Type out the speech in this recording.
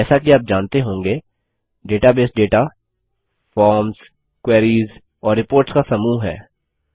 जैसा कि आप जानते होंगे डेटाबेस डेटा फॉर्म्स क्वेरीज़ और रिपोर्ट्स का समूह है